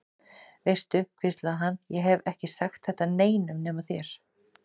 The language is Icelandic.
Veistu, hvíslaði hann, ég hef ekki sagt þetta neinum nema þér.